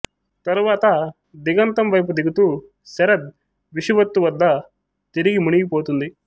తరువాత దిగంతం వైపు దిగుతూ శరద్ విషువత్తు వద్ద తిరిగి మునిగిపోతుంది